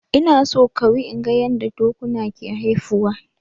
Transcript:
Ina so kawi inga yanda dokuna ke haifuwa.